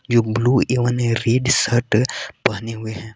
जो ब्लू एवं red shirt पहने हुए हैं।